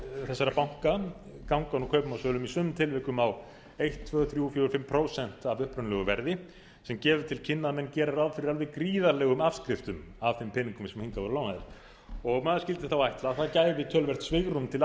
þessara banka ganga nú kaupum og sölum í sumum tilvikum á einn tveir þrír fimm prósent af upprunalegu verði sem gefur til kynna að menn gera ráð fyrir alveg gríðarlegum afskriftum af þeim peningum sem hingað voru lánaðir og maður skyldi þá ætla að það gæfist töluvert svigrúm til